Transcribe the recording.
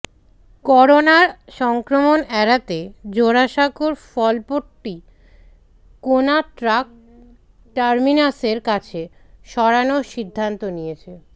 করোনার সংক্রমণ এড়াতে জোড়াসাঁকোর ফলপট্টি কোনা ট্রাক টার্মিনাসের কাছে সরানোর সিদ্ধান্ত নিয়েছে